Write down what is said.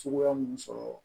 Cogoya mun sɔrɔ